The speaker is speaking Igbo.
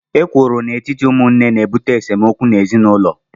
Ekworo n'etiti ụmụnne na-ebute esemokwu n'ezinụlọ